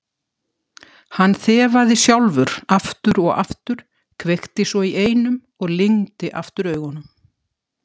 Hann þefaði sjálfur aftur og aftur, kveikti svo í einum og lygndi aftur augunum.